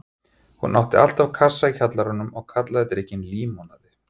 Hún átti alltaf kassa í kjallaranum og kallaði drykkinn límonaði.